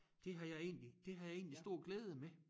Det har jeg egentlig det har jeg egentlig stor glæde med